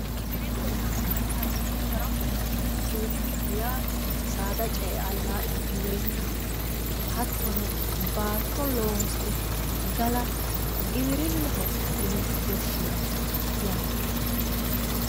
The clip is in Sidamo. giwirinnaho yaa mayyaate yiittaro saada ce''e allaa'la giwirinnaho hattono baatto loosire gala giwirinnaho yine woshshinanni yaate.